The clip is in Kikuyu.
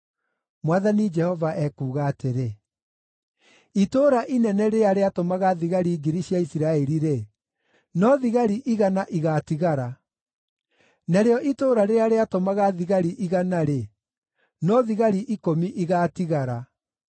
Mwathani Jehova ekuuga atĩrĩ: “Itũũra inene rĩrĩa rĩatũmaga thigari ngiri cia Isiraeli-rĩ, no thigari igana igaatigara; narĩo itũũra rĩrĩa rĩatũmaga thigari igana-rĩ, no thigari ikũmi igaatigara.”